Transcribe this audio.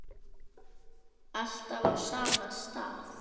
Alltaf á sama stað.